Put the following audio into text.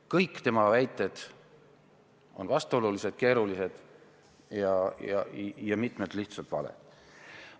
Kõik tema väited on vastuolulised, keerulised ja mitmed lihtsalt valed.